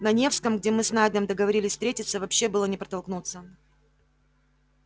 на невском где мы с найдом договорились встретиться вообще было не протолкнуться